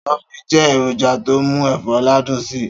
Stockfish jẹ́ èròjà to mú ẹ̀fọ́ ládùn si.